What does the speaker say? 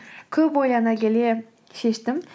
көп ойлана келе шештім